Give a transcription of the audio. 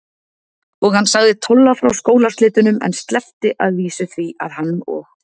Og hann sagði Tolla frá skólaslitunum, en sleppti að vísu því að hann og